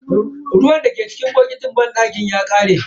Ruwan dake cikin botikin banɗaki ya kare.